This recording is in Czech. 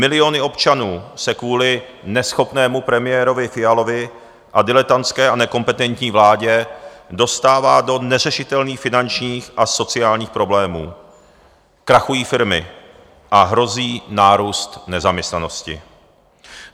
Miliony občanů se kvůli neschopnému premiérovi Fialovi a diletantské a nekompetentní vládě dostává do neřešitelných finančních a sociálních problémů, krachují firmy a hrozí nárůst nezaměstnanosti.